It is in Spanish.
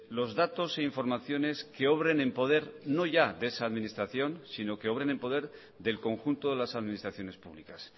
los datos e informaciones que obren en poder no ya de esa administración sino que obren en poder del conjunto de las administraciones públicas